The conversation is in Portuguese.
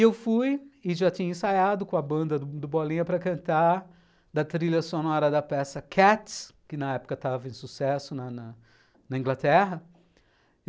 Eu fui e já tinha ensaiado com a banda do Bolinha para cantar da trilha sonora da peça Cats, que na época estava em sucesso na na Inglaterra.